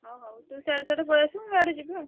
ହଉ ହଉ ତୁ ସିଆଡେ ସିଆଡେ ପଳେଇଆସିବୁ ମୁଁ ଇଆଡେ ଯିବି।